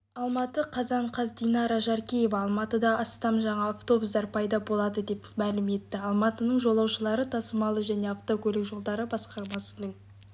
алматы қазан қаз динара жаркеева алматыда астам жаңа автбустар пайда болады деп мәлім етті алматының жолаушылар тасымалы және автокөлік жолдары басқармасының